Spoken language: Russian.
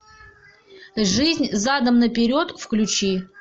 жизнь задом наперед включи